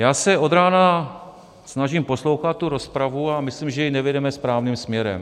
Já se od rána snažím poslouchat tu rozpravu a myslím, že ji nevedeme správným směrem.